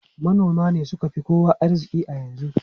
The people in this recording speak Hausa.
Manoma ne suka fi kowa arziki a yanzu.